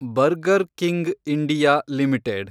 burger King India limited